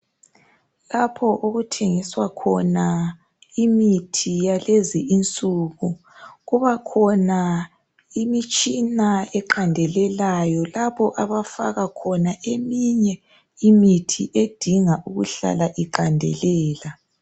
Lapho okuthengiswa khona imithi yalezi insuku kubakhona imitshina eqandelelayo lapho abafaka khona eminye imithi edinga ukuhlala iqandelela